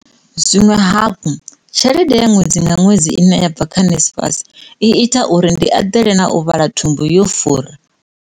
Zwiṅwe hafhu, tshelede ya ṅwedzi nga ṅwedzi ine ya bva kha NSFAS i ita uri ndi eḓele na u vhala thumbu yo fura, o ralo.